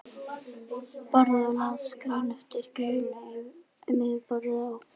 Borðaði og las grein eftir grein um yfirborðið á